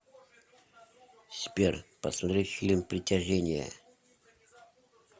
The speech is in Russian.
сбер посмотреть фильм притяжение